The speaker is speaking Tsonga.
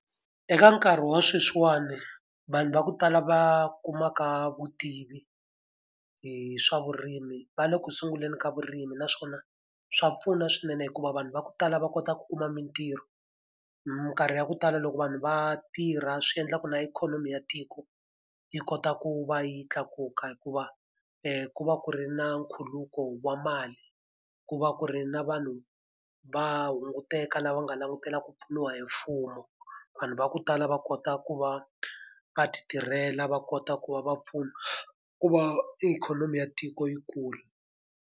Eka nkarhi wa sweswiwani vanhu va ku tala va kumaka vutivi hi swa vurimi va le ku sunguleni ka vurimi naswona, swa pfuna swinene hikuva vanhu va ku tala va kota ku kuma mintirho. Minkarhi ya ku tala loko vanhu va tirha swi endlaka na ikhonomi ya tiko yi kota ku va yi tlakuka hikuva ku va ku ri na nkhuluko wa mali. Ku va ku ri na vanhu va hunguteka lava nga langutela ku pfuniwa hi mfumo, vanhu va ku tala va kota ku va va ti tirhela, va kota ku va va pfuna ku va ikhonomi ya tiko yi kula.